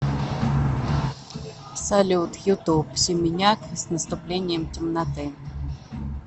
салют ютуб семеняк с наступлением темноты